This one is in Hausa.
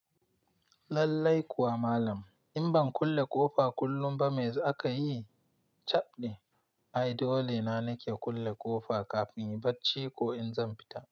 Lallai kuwa malam, in ban kulle ƙofa kullum ba me zakayi? Caɓɗi. Ai dole na nake kulle ƙofa kafin in barci ko in zan fita.